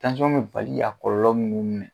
bɛ bali y'a kɔlɔlɔ minnu minɛ